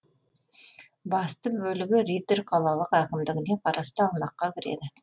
басты бөлігі риддер қалалық әкімдігіне қарасты аумаққа кіреді